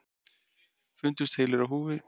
Fundust heilir á húfi